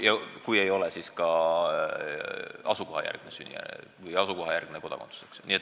Ja kui ei ole, siis ka asukohajärgne kodakondsus.